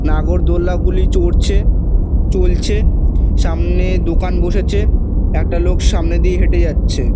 নাগর দোলনা গুলি চড়ছে চলছে। সামনে দোকান বসেছে । একটা লোক সামনে দিয়ে হেঁটে যাচ্ছে।